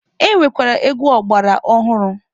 E nwekwara egwu ọgbara ọhụrụ.